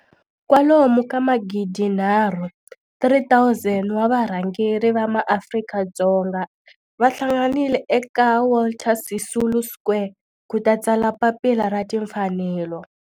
kwalomu ka magidi nharhu, 3 000, wa varhangeri va maAfrika-Dzonga va hlanganile eka Walter Sisulu Square ku ta tsala Papila ra Timfanelo.